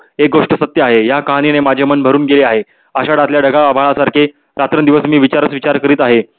एक गोष्ट सत्य आहे या काहणीने माझे मन भरून गेले आहे. अश्या अभाळसारखे रात्रंदिवस मी विचारच विचार करत आहे.